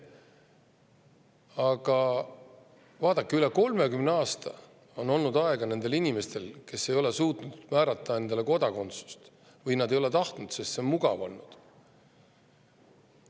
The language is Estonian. Aga vaadake, üle 30 aasta on olnud aega nendel inimestel, kes ei ole suutnud endale kodakondsust või nad ei ole seda tahtnudki, sest nii on mugav olnud.